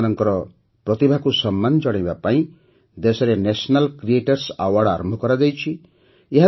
ସେମାନଙ୍କର ପ୍ରତିଭାକୁ ସମ୍ମାନ ଜଣାଇବା ପାଇଁ ଦେଶରେ ନ୍ୟାସନାଲ କ୍ରିଏଟର୍ସ ଆୱାର୍ଡ ଆରମ୍ଭ କରାଯାଇଛି